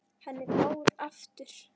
Henni fór aftur.